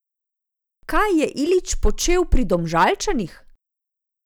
Kaj je Ilić počel pri Domžalčanih?